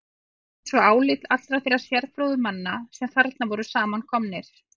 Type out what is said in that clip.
Fékk ég svo álit allra þeirra sérfróðu manna, sem þarna voru samankomnir.